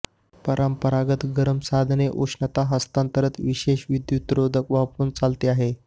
परंपरागत गरम साधने उष्णता हस्तांतरण विशेष विद्युतरोधक वापरून चालते आहे